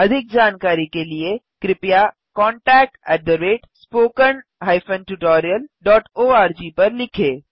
अधिक जानकारी के लिए कृपया contactspoken tutorialorg पर लिखें